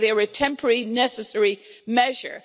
They say they are a temporary, necessary measure.